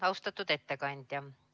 Austatud ettekandja!